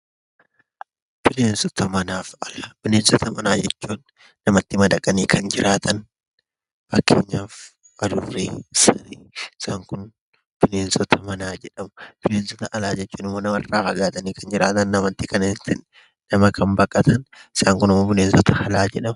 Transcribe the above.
Bineensota manaaf alaa, bineensota manaa jechuun namatti madaqanii kan jiraatan fakkeenyaaf adurree, saree isaan kun bineensota manaa jedhamu. Bineensota alaa jechuun ammoo namarraa fagaatanii kan jiraatan, nama kan baqatan. Isaan kunimmoo bineensota alaa jedhamu.